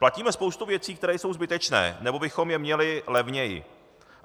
Platíme spoustu věcí, které jsou zbytečné, nebo bychom je měli levněji.